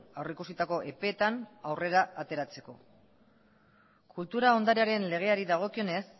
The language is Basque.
aurrikusitako epeetan aurrera ateratzeko kultura ondarearen legeari dagokionez